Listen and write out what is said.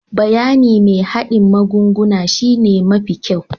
Bayanin mai hardin magunguna shine mafi kyau.